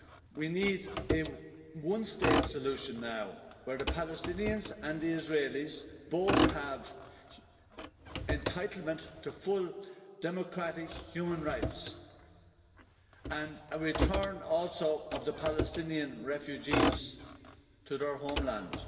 We need a one-state solution now, where the Palestinians and the Israelis both have an entitlement to full democratic human rights, and a return of the Palestinian refugees to their homeland.